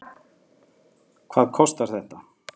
Hvað kostar þetta?